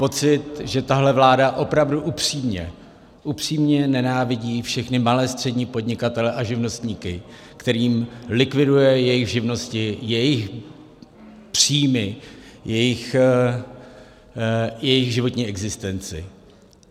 Pocit, že tahle vláda opravdu upřímně nenávidí všechny malé, střední podnikatele a živnostníky, kterým likviduje jejich živnosti, jejich příjmy, jejich životní existenci.